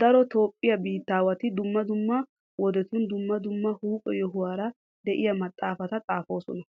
Daro toophphiya biittaawati dumma dumma wodetun dumma dumma huuphe yohuwara de'iya maxaafata xaafoosona.